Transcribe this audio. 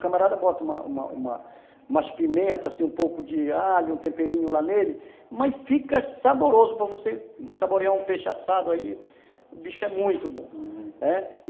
O camarada bota umas pimentas, um pouco de alho, um temperinho lá nele, mas fica saboroso para você saborear um peixe assado aí, o bicho é muito bom, uhum, né...